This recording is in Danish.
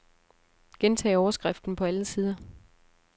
Gentag overskriften på alle sider.